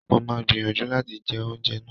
Mo máa gbìyànjú láti jẹ oúnjẹ náà